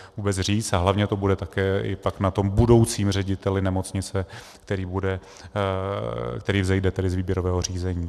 A hlavně to bude také i pak na tom budoucím řediteli nemocnice, který vzejde z výběrového řízení.